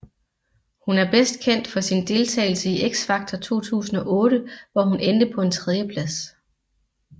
Hun er bedst kendt for sin deltagelse i X Factor 2008 hvor hun endte på en tredjeplads